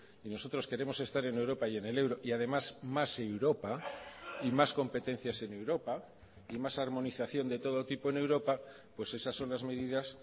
y nosotros queremos estar en europa y en el euro y además más europa y más competencias en europa y más armonización de todo tipo en europa pues esas son las medidas